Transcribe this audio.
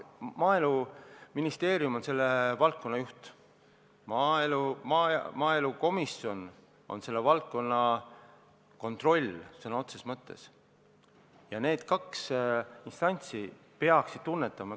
Maaeluministeerium on selle valdkonna juht, maaelukomisjon on selle valdkonna kontrollija sõna otseses mõttes ja need kaks instantsi peaksid seda tunnetama.